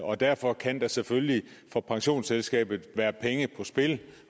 og derfor kan der selvfølgelig for pensionsselskabet være penge på spil